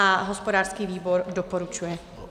A hospodářský výbor doporučuje.